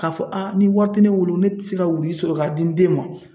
Ka fɔ a ni wari te ne bolo ,ne te se ka wuruyi sɔrɔ ka di n den ma.